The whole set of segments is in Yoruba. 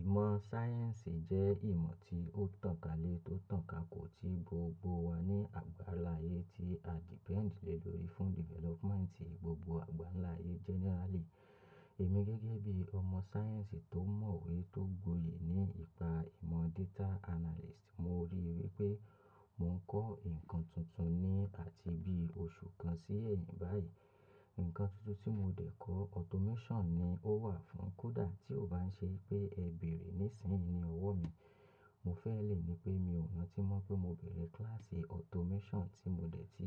Ìmọ̀ sáyẹ́ǹsì jẹ́ ìmọ̀ tí ó tànkálé, tó tàn ká kò tí gbogbo wa ní àgbá'ńlá ayé tí a depend le lórí fún development gbogbo àgbá'ńlá ayé generally. Èmi gẹ́gẹ́ bí ọmọ science tó mọ̀ ìwé tó gboyè ní ipa ìmọ̀ data analyst, mo rí i wí pé mò ń kọ́ ǹkan tuntun ni àti bí oṣù kan sí ẹ̀yìn báyìí. Ǹkan tuntun tí mo dẹ̀ kọ́ automation ni ó wà fún kó dà tí ó bá ń ṣe pé ẹ bèrè níìsín ni ọwọ́ mi. Mo fẹ́ lè ní pé mi ò rántí mọ̀ pé mo bẹ̀rẹ̀ class automation tí mo dẹ̀ ti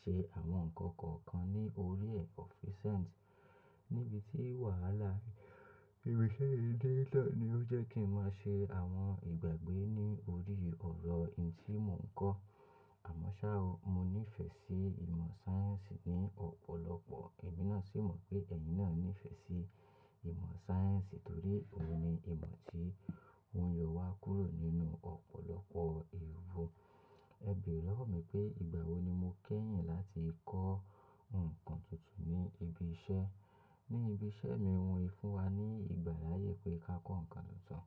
ṣe àwọn nǹkan kọ̀ọ̀kan ní orí ẹ̀ of resent. Níbi tí wàhálà níbi iṣẹ́yì dí lọ ní ó jẹ́ kí ń máa ṣe àwọn ìgbàgbé ní orí ọ̀rọ̀ èyìí tí mò ń kọ́. Àmọ́ ṣá, mo ní ìfẹ́ sí ìmọ̀ sáyẹ́ǹsì ní ọ̀pọ̀lọpọ̀. Ẹ̀mí náà sì mọ̀ pé ẹ̀yin náà ní ìfẹ́ sí ìmọ̀ sáyẹ́ǹsì torí òun ni ìmọ̀ tí òun yóò wá kúrò nínú ọ̀pọ̀lọpọ̀ èwù. Ẹ bèrè lọ́wọ́ mi pé ìgbà wo ni mo kẹ́yìn láti kọ́ ǹkan tuntun ní ibi iṣẹ́. Ní ibi iṣẹ́ mi wọ́n í fún wa ní ìgbàláyé pé ká kọ́ ǹkan tuntun.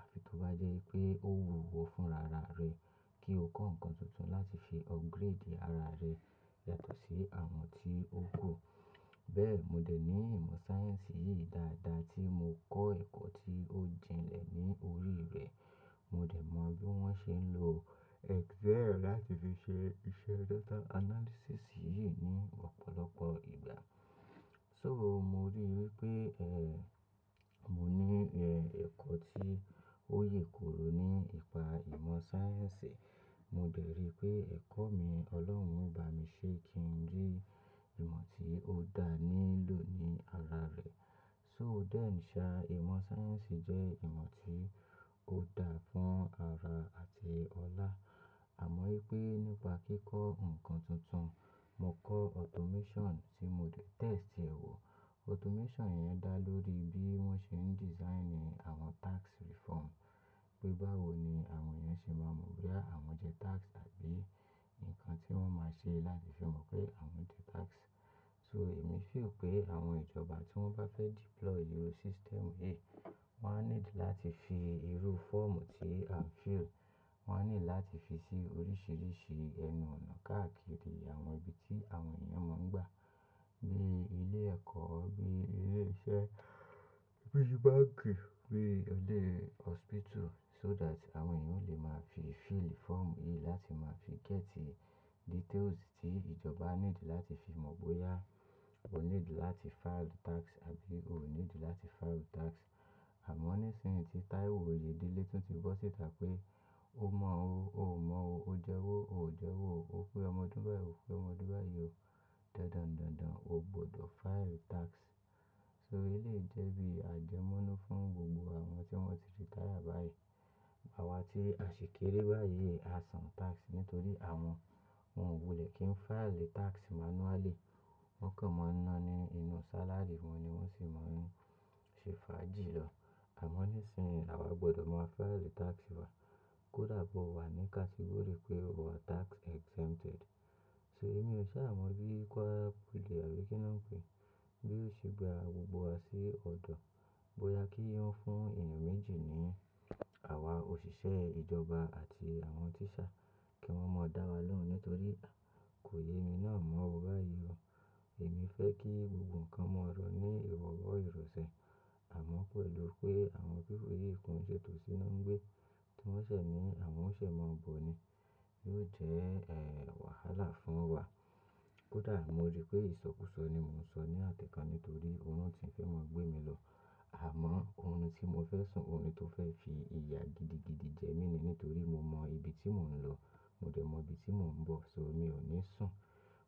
Àfi tó bá jẹ́ pé ó wù ìwọ́ fún rárá rẹ kí o kọ́ ǹkan tuntun láti fi upgrade ara rẹ yàtọ̀ sí àwọn tí ó kò. Bẹ́ẹ̀, mo dẹ̀ ní ìmọ̀ sáyẹ́ǹsì yìí dáadáa tí mo kọ́ ẹ̀kọ́ tí ó jìnnlẹ̀ ní orí rẹ̀. Mo dẹ̀ mọ bí wọ́n ṣe ń lo Excel láti fi ṣe iṣẹ́ data analysis yìí ní ọ̀pọ̀lọpọ̀ ìgbà. So, mo rí i wí pé, eh, mo ní, eh, ẹ̀kọ́ tí ó yèkoro ní ipa ìmọ̀ sáyẹ́ǹsì. Mo dẹ̀ rí i pé ẹ̀kọ́ mi Ọlọ́run bá mi ṣe kí ń rí ìmọ̀ tí ó dá nílò ní ara rẹ̀. So then ṣá, ìmọ̀ sáyẹ́ǹsì jẹ́ ìmọ̀ tí ó dá fún ara àti ọlá. Àmọ́ wípé nípa kíkọ́ ǹkan tuntun, mo kọ́ automation tí mo dẹ̀ test ẹ̀ wò. Automation yẹn dá lórí bí wọ́n ṣe ń design àwọn tax reform. Pé báwo ni àwọn èèyẹn ṣe máa mọ̀ bóyá àwọn jẹ́ tax àbí ǹkan tí wọ́n máa ṣe láti fi mọ̀ pé àwọn jẹ́ tax. So, èmi feel pé àwọn ìjọba tí wọ́n bá fẹ́ deploy irú system yìí, wọ́n á nílò láti fi irú fọ́ọ̀mù tí à ń fill, wọ́n á nílò láti fi sí oríṣìíríṣìí ẹnu-ọ̀nà káàkiri àwọn ibi tí àwọn èèyàn máa ń gbà. Bíi ilé ẹ̀kọ́, bíi ilé iṣẹ́, bíi báǹkì, bíi ilé hospital so that àwọn èèyàn lè máa fi fill fọ́ọ̀mù yìí láti máa fi gẹ́tì details tí ìjọba á nílò láti fi mọ̀ bóyá o nílò láti file tax tàbí o ò nílò láti file tax. Àmọ́ níìsín tí taiwo oyedele tún ti bọ̀ síta pé ó mọ̀ o, ò mọ̀ o, ó jẹ́wó, ò jẹ́wó o, ó pé ọmọ ọdún báyìì, ó pé ọmọ ọdún báyìì o. Dandan dandan o gbọdọ̀ file tax. So elèyìí jẹ́ bí àjẹmọ́nú fún gbogbo àwọn tí wọ́n ti ti retire báyìí. Àwa tí a ṣèkéré báyìí a san tax nítorí àwọn òun wulẹ̀ kí n file tax manually. Wọ́n kàn mọ́ náání inú salary wọ́n ni wọ́n sì mọ̀ ń ṣe fà jì lọ. Àmọ́ níìsín àwa gbọdọ̀ máa file tax wa. Kódà bó wà ní category pé o wà tax exempted. So irú iṣe à mọ̀ bí kọ́ọ́pù lè àbí kí ni wọ́n ń pè é, bí ó ṣe gba gbogbo wa sí ọ̀dọ̀. Bóyá kí wọ́n fún èèyàn méjì ni, àwa òṣìṣẹ́ ìjọba àti àwọn teacher kí wọ́n máa dá wa lóhùn nítorí kò yé ẹ mi náà mọ̀ o báyìí o. Èmi fẹ́ kí gbogbo nǹkan mọ̀ ló ní ìrọ̀wọ̀ ìrọ̀sẹ̀. Àmọ́ pẹ̀lú pé àwọn people yìí kon ṣè tòsí ná ǹgbé tí wọ́n ṣẹ̀ ní àwọn ó ṣe máa bọ̀ ni LUTH ẹ́, eh, wàhálà fún wa. Kódà mo rí pé ìsọkúsọ ni mò ń sọ ní àtẹ́ kan nítorí òun náà ti ń fẹ́ mọ̀ gbé mi lọ. Àmọ́ ohun tí mo fẹ́ sùn ohun ni tó fẹ́ fi ìyà gidigidi jẹ mí ni nítorí mo mọ ibi tí mò ń lọ, mo dẹ̀ mọ ibi tí mò ń bọ̀ so mi ò ní sùn.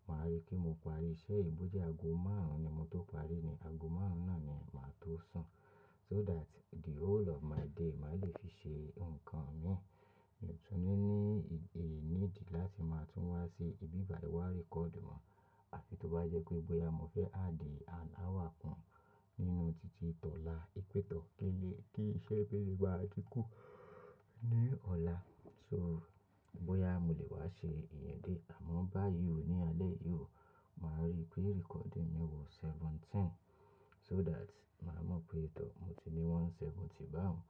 Màá rí kí mo parí iṣẹ́ yìí bó jẹ́ ago márùn-ún ni mo tó parí ni ago márùn-ún náà ni màá tó sùn. So that the whole of my day màá le fi ṣe nǹkan mi. Ìtúnnu mi ní ìgbè mí dí láti máa tún wá sí ibi ìbàríwá record mọ̀. Àfi tó bá jẹ́ pé bóyá mo fẹ́ àdí an hour kan nínú títí ìtọ̀ la, ìpètọ́ eiye kí iṣẹ́ tún lè bá tún kù ní ọ̀la. So bóyá mò lè wá ṣe ìyẹn dé àmọ́ by you ní alẹ́ yìí o, màá rí pé recording mi wù seventeen. So that màá mọ̀ pé ìtọ̀ mo ti ní one seventy bá òun.